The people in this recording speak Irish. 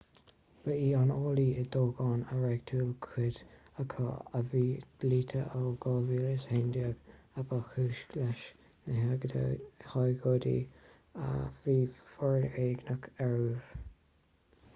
ba í an fhaillí i dtoghcháin a reáchtáil cuid acu a bhí dlite ó 2011 a ba chúis leis na hagóidí a bhí foréigneach ar uairibh